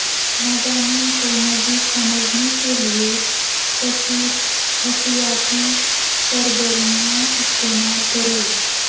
مضامین کو مزید سمجھنے کے لئے کثیر حسیاتی سرگرمیاں استعمال کریں